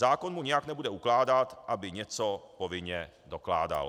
Zákon mu nijak nebude ukládat, aby něco povinně dokládal.